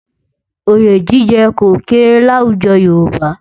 Oyè jíjẹ kò kéré láwùjọ Yorùbá